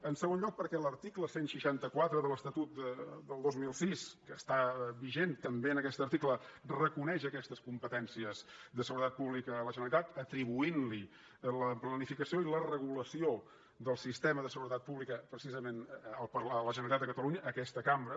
en segon lloc perquè l’article cent i seixanta quatre de l’estatut del dos mil sis que està vigent també en aquest article reconeix aquestes competències de seguretat pública a la generalitat atribuint li la planificació i la regulació del sistema de seguretat pública precisament a la generalitat de catalunya a aquesta cambra